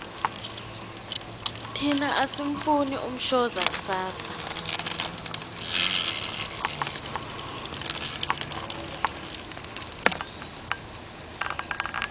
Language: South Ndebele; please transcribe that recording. thina asimufuni umshoza kusasa